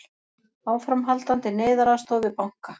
Áframhaldandi neyðaraðstoð við banka